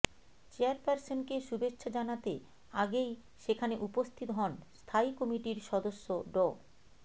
চেয়ারপারসনকে শুভেচ্ছা জানাতে আগেই সেখানে উপস্থিত হন স্থায়ী কমিটির সদস্য ড